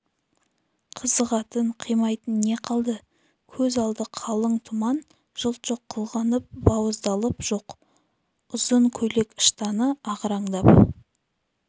қызығатын қимайтын не қалды көз алды қалың тұман жылт жоқ қылғынып бауыздалып жоқ ұзын көйлек-ыштаны ағараңдап